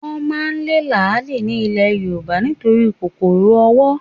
Wọ́n máa lé làálì ní ilè Yorùbá nítorí kòkòrò owó